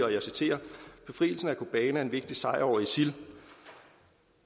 og jeg citerer befrielsen af kobane var en vigtig sejr